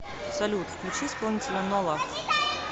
салют включи исполнителя нола